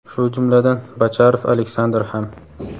shu jumladan Bocharov Aleksandr ham.